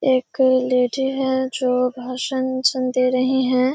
एक लेडी है जो भाषण सुन दे रही है।